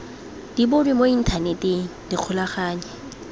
di bonwe mo inthaneteng ikgolaganye